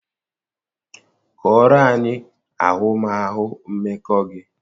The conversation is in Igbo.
Kọọrọ anyị ahụmahụ mmekọ gị